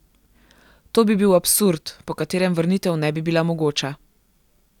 To bi bil absurd, po katerem vrnitev ne bi bila mogoča.